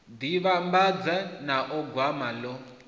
ḓi vhambedza nao gwama ḽo